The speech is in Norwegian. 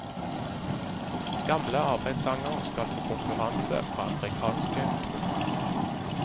Gamle arbeidersanger skal få konkurranse fra afrikanske trommer.